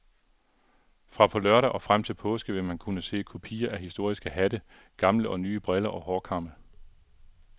Fra på lørdag og frem til påske vil man kunne se kopier af historiske hatte, gamle og nye briller og hårkamme.